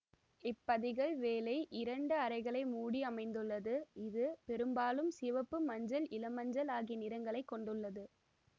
இப்பதிகல் வேலை இரண்டு அறைகளை மூடி அமைந்துள்ளது இது பெரும்பாலும் சிவப்பு மஞ்சள் இளமஞ்சள் ஆகிய நிறங்களைக் கொண்டுள்ளது